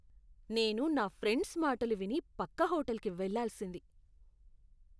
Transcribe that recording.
నేను నా ఫ్రెండ్స్ మాటలు విని పక్క హోటల్కి వెళ్లాల్సింది.